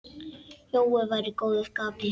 Jói var í góðu skapi.